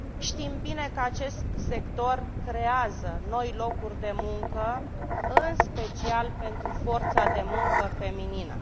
Știm bine că acest sector creează noi locuri de muncă, în special pentru forța de muncă feminină.